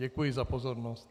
Děkuji za pozornost.